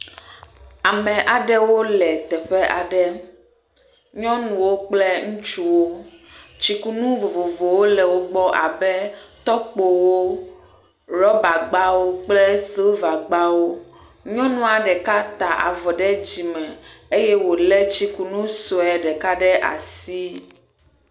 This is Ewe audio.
Ame aɖewo le teƒe aɖe. Nyɔnuwo kple ŋutsuwo. Tsikunu vovovowo le wo gbɔ abe, tɔkpowo, ɖɔbagbawo kple sivagbawo. Nyɔnua ɖeka ta avɔ ɖe dzime eye wo le tsikunu sue ɖeka ɖe asi.